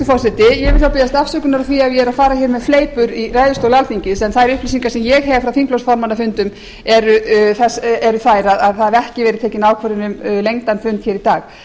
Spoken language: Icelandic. ef ég er að fara með fleipur í ræðustóli alþingis en þær upplýsingar sem ég hef frá þingflokksformannafundum eru þær að það hafi ekki verið tekin ákvörðun um lengdan fund í dag en